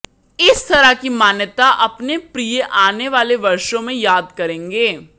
इस तरह की मान्यता अपने प्रिय आने वाले वर्षों में याद करेंगे